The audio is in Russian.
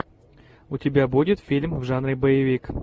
у тебя будет фильм в жанре боевик